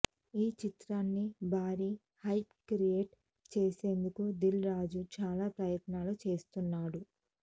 ఈ చిత్రానికి భారీ హైప్ క్రియేట్ చేసేందుకు దిల్ రాజు చాలా ప్రయత్నాలు చేస్తున్నాడు